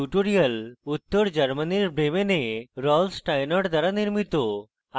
এই টিউটোরিয়াল উত্তর germany bremen rolf steinort দ্বারা নির্মিত